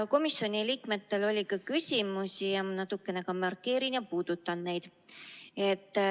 Komisjoni liikmetel oli ka küsimusi, ma natukene markeerin ja puudutan neid.